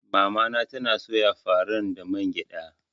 Mamana tana soya faran da man gyada.